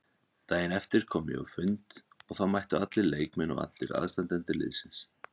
Daginn eftir kom ég á fund og þá mættu allir leikmenn og allir aðstandendur liðsins.